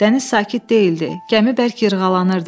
Dəniz sakit deyildi, gəmi bərk yırğalanırdı.